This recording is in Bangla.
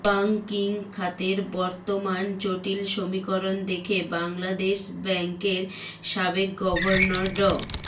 ব্যাংকিং খাতের বর্তমান জটিল সমীকরণ দেখে বাংলাদেশ ব্যাংকের সাবেক গভর্নর ড